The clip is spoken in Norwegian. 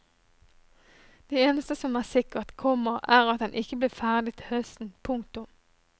Det eneste som er sikkert, komma er at den ikke blir ferdig til høsten. punktum